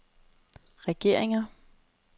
regeringer